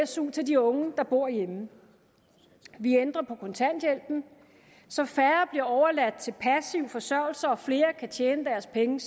su til de unge der bor hjemme vi ændrer på kontanthjælpen så færre bliver overladt til passiv forsørgelse og flere kan tjene deres penge